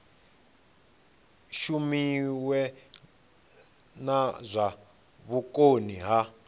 shumiwe na zwa vhukoni ha